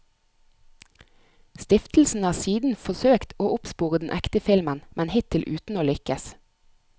Stiftelsen har siden forsøkt å oppspore den ekte filmen, men hittil uten å lykkes.